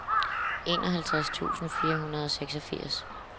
enoghalvtreds tusind fire hundrede og seksogfirs